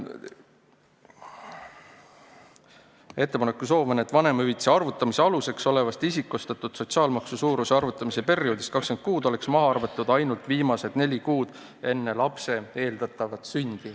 Ettepanek on, et vanemahüvitise arvutamise aluseks olevast isikustatud sotsiaalmaksu suuruse arvutamise perioodist oleks maha arvatud ainult viimased neli kuud enne lapse eeldatavat sündi.